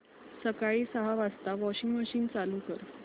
सकाळी सहा वाजता वॉशिंग मशीन चालू कर